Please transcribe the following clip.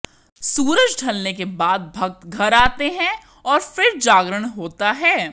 सूरज ढ़लने के बाद भक्त घर आते हैं और फिर जागरण होता है